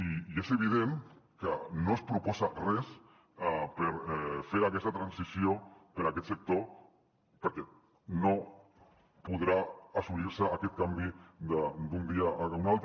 i és evident que no es proposa res per fer aquesta transició per a aquest sector perquè no podrà assolir se aquest canvi d’un dia per l’altre